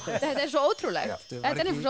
þetta er svo ótrúlegt þetta er nefnilega